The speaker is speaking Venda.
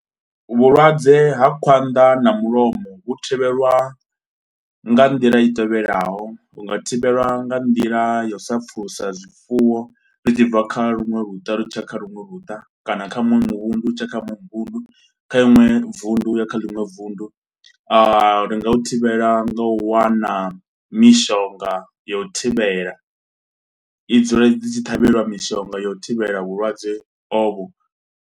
Vhulwadze ha khwanḓa na mulomo vhu thivhelwa nga nḓila i tevhelaho. Hu nga thivhelwa nga nḓila yau sa pfulusa zwifuwo zwi tshi bva kha luṅwe luta zwi tshi ya kha luṅwe luta, kana kha muṅwe muvhundu u tshi ya kha muṅwe muvhundu. Kha iṅwe vunḓu u ya kha ḽiṅwe vunḓu. A, ri nga u thivhela nga u wana mishonga yau u thivhela, i dzule dzi tshi ṱhavheliwa mishonga yau u thivhela vhulwadze ovho.